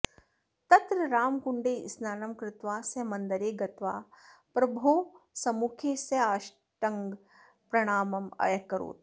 तत्र रामकुण्डे स्नानं कृत्वा सः मन्दरे गत्वा प्रभोः सम्मुखे साष्टाङ्गं प्रणामम् अकरोत्